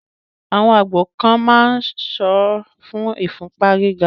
àwọn àgbo kan ma ń ìsọ́ fún ìfúnpá gíga.